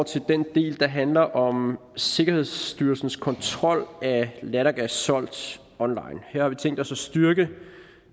til den del der handler om sikkerhedsstyrelsens kontrol af lattergas solgt online her har vi tænkt os at styrke